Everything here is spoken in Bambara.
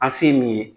An se ye min ye